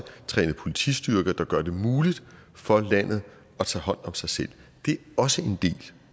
trænet politistyrker der gør det muligt for landet at tage hånd om sig selv det er også en del